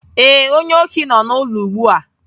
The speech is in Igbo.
Ee, onye ohi nọ n'ụlọ ugbu a